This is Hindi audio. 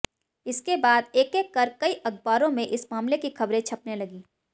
इसके बाद एक एक कर कई अखबारों में इस मामले की खबरें छपने लगी